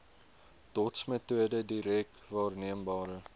dotsmetode direk waarneembare